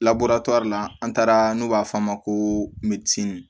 labure la an taara n'u b'a f'a ma ko